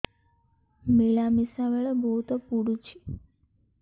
ମିଳାମିଶା ବେଳେ ବହୁତ ପୁଡୁଚି